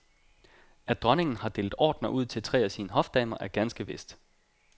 At dronningen har delt ordener ud til tre af sine hofdamer er ganske vist.